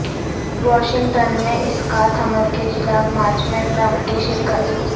Washington میں اسقاط حمل کے خلاف مارچ میں ٹرمپ کی شرکت